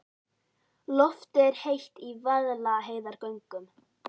Loftið er heitt í Vaðlaheiðargöngum.